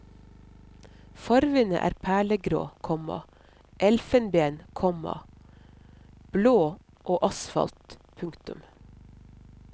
Farvene er perlegrå, komma elfenben, komma blå og asfalt. punktum